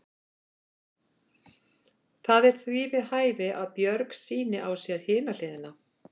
Það er því við hæfi að Björg sýni á sér hina hliðina.